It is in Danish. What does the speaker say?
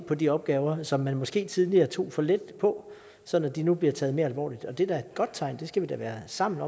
på de opgaver som man måske tidligere tog for let på sådan at de nu bliver taget mere alvorligt det er da et godt tegn og det skal vi da sammen